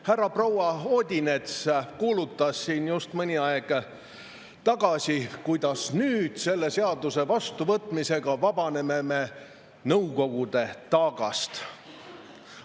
Härra-proua Odinets kuulutas siin just mõni aeg tagasi, kuidas me nüüd selle seaduse vastuvõtmisega vabaneme Nõukogude taagast.